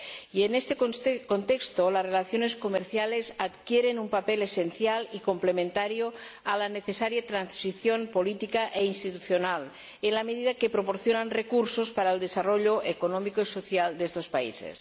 Y, en este contexto, las relaciones comerciales adquieren un papel esencial y complementario a la necesaria transición política e institucional en la medida en que proporcionan recursos para el desarrollo económico y social de estos países.